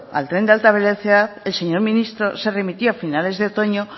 al tren de alta velocidad el señor ministro se remitirá a finales de otoño